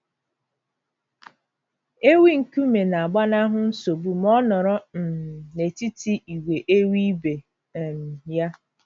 Ewi nkume na - agbanahụ nsogbu ma ọ nọrọ um n’etiti ìgwè ewi ibe um ya.